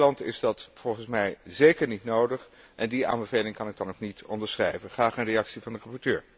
Voor Nederland is dat volgens mij zeker niet nodig en die aanbeveling kan ik dan ook niet onderschrijven. Graag een reactie van de rapporteur.